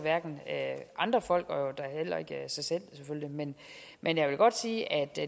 andre folk og da heller ikke sig selv selvfølgelig men men jeg vil godt sige at